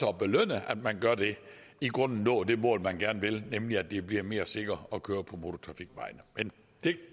at belønne at man gør det i grunden nå det mål man gerne vil nemlig at det bliver mere sikkert at køre på motortrafikveje men der